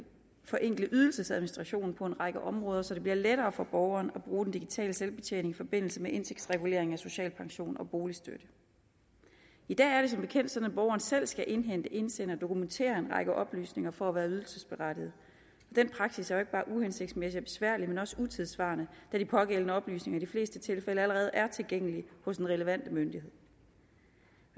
forenkle ydelsesadministrationen på en række områder så det bliver lettere for borgerne at bruge digital selvbetjening i forbindelse med indtægtsregulering af social pension og boligstøtte i dag er det som bekendt sådan at borgeren selv skal indhente indsende og dokumentere en række oplysninger for at være ydelsesberettiget den praksis er jo ikke bare uhensigtsmæssig og besværlig men også utidssvarende da de pågældende oplysninger i de fleste tilfælde allerede er tilgængelige hos den relevante myndighed